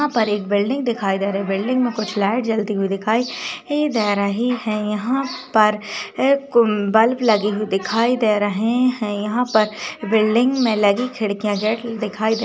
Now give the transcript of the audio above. यहाँ पर एक बिल्डिंग दिखाई दे रहा है बिल्डिंग मे कुछ लाइट जलती हुई दिखाई दे रही है यहाँ पर एक बल्ब लगी हुई दिखाई दे रही है यहाँ पर बिल्डिंग मे लगी खिड्किया गेट दिखाई--